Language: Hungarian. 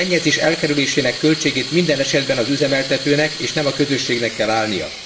A szennyezés elkerülésének költségét minden esetben az üzemeltetőnek és nem a közösségnek kell állnia.